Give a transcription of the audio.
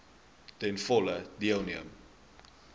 ten volle deelneem